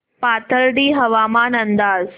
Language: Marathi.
पाथर्डी हवामान अंदाज